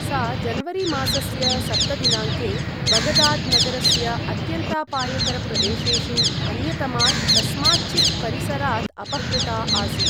सा जनवरीमासस्य सप्त दिनाङ्के बगदाद् नगरस्य अत्यन्तापायकरप्रदेशेषु अन्यतमात् कस्माच्चित् परिसरात् अपहृता आसीत्।